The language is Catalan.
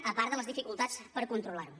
a part de les dificultats per controlar ho